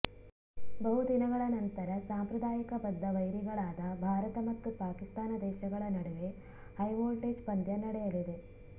ಬಹು ದಿನಗಳ ನಂತರ ಸಾಂಪ್ರದಾಯಿಕ ಬದ್ದ ವೈರಿಗಳಾದ ಭಾರತ ಮತ್ತು ಪಾಕಿಸ್ತಾನ ದೇಶಗಳ ನಡುವೆ ಹೈ ವೋಲ್ಟೇಜ್ ಪಂದ್ಯ ನಡೆಯಲಿದೆ